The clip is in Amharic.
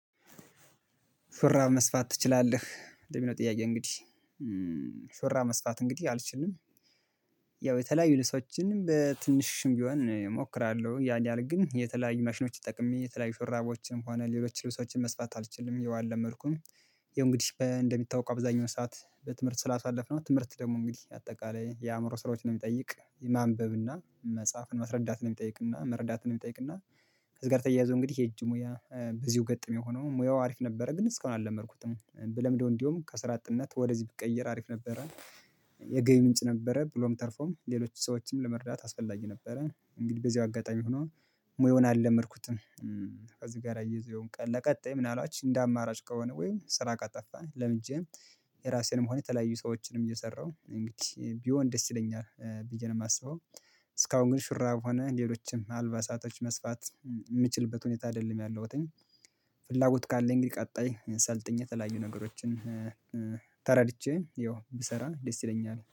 ሹራብ መስፋት ትችላለህ ለሚለው ጥያቄ? እንግዲህ ሹራብ መስፋት እንግዲህ አልችልም ያው የተለያዩ ልብሶችንም በትንሹም ቢሆን እሞክራለሁ ያን ያህል ግን የተለያዩ ማሽኖች ተጠቅሜ የተለያዩ ሹራቦችንም ሆነ ሌሎች ልብሶችን መስፋት አልችልም ያው አልመድኩም። ያውእንግዲህ እንደሚታወቀው አብዛኛው ሰዓት በትምህርት ስላሳለፍነው ትምህርት ደግሞ እንግዲህ አጠቃላይ የአእምሮ ስራዎችን ነው የሚጠይቅ ማንበብ እና መጽሐፍን ማስረዳት ነው የሚጠይቅና መረዳት ነው የሚጠይቅና። ከዚህ ጋር ተያያዞ እንግዲህ የእጅሙያ በዚሁ ገጥም የሆነው ሙያው አሪፍ ነበረ ግን እስካሁን አልለመድኩትም ብለምደው እንዲያውም ከስራ አጥነት ወደዚህ ብቀየር አሪፍ ነበረን። የገቢ ምንጭ ነበረ ብሎም ተርፎም ሌሎች ሰዎችን ለመርዳት አስፈላጊ ነበረ እንግዲህ በዚህ አጋጣሚ ሆኖ ሙያውን አልለመድኩትም። ከዚህ ጋር አያይዞ ያውም ቀን ለቀጣይ ምን አልባት እንደ አማራጭ ከሆነ ወይም ስራ ከጠፋ ለምጀ። የራሴንም ሆነ የተለያዩ ሰዎችንም እየሰራሁ እንግዲህ ቢሆን ደስ ይለኛል ብዬ ነው የማስበው። እስካሁን ግን ሹራብ ሆነ ሌሎችም አልባ ሳቶች መስፋት የምችልበት ሁኔታ አይደለም ያለሁትኝ። ፍላጎት ካለኝ እንግዲህ ቀጣይ ሰልጥኜ የተለያዩ ነገሮችን ተረድቼ ያው ብሰራ ደስ ይለኛል